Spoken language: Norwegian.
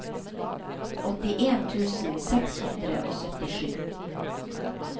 åttien tusen seks hundre og syttisju